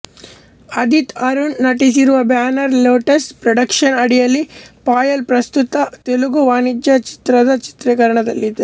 ಆದಿತ್ ಅರುಣ್ ನಟಿಸಿರುವ banner Lotus Productions ಅಡಿಯಲ್ಲಿ ಪಾಯಲ್ ಪ್ರಸ್ತುತ ತೆಲುಗು ವಾಣಿಜ್ಯ ಚಿತ್ರದ ಚಿತ್ರೀಕರಣದಲ್ಲಿದ್ದಾರೆ